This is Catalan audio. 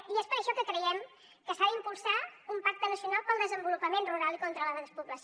i és per això que creiem que s’ha d’impulsar un pacte nacional per al desenvolupament rural i contra la despoblació